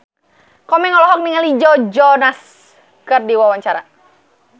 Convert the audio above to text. Komeng olohok ningali Joe Jonas keur diwawancara